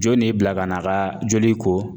Jɔn de y'i bila ka n'a ka joli ko